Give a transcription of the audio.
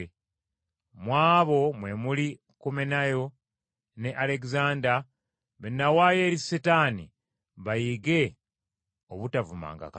Mu abo mwe muli Kumenayo ne Alegezanda be n’awaayo eri Setaani bayige obutavumanga Katonda.